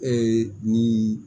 Ee ni